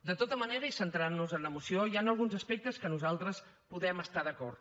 de tota manera i centrant nos en la moció hi han alguns aspectes que nosaltres podem estar hi d’acord